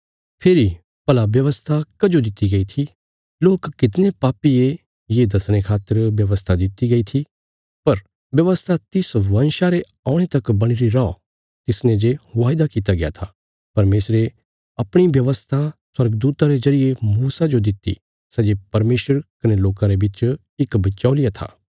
फेरी भला व्यवस्था कजो दित्ति गई थी लोक कितणे पापी ये ये दसणे खातर व्यवस्था दित्ति गई थी पर व्यवस्था तिस वंशा रे औणे तक बणीरी रौ तिसने जे वायदा कित्या गया था परमेशरे अपणी व्यवस्था स्वर्गदूता रे जरिये मूसा जो दित्ति सै जे परमेशर कने लोकां रे बिच इक बिचौल़िया था